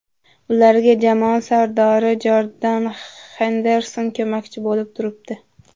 Ularga jamoa sardori Jordan Henderson ko‘makchi bo‘lib turibdi.